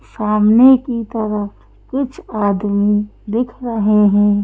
सामने की तरफ कुछ आदमीदिख रहे हैं।